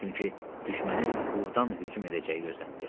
Çünki düşmənin burdan hücum edəcəyi gözlənilirdi.